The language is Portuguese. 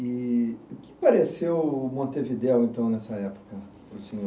E o que pareceu Montevideo, então, nessa época, para o senhor?